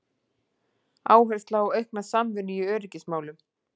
Áhersla á aukna samvinnu í öryggismálum